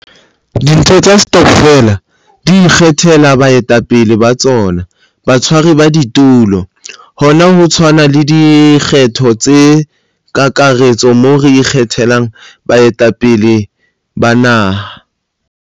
Ditho tsa stokfele di ikgethela baetapele ba tsona, batshwari ba ditulo, - Hona ho tshwana le dikgetho tsa kakaretso moo re ikgethelang baetapele ba naha.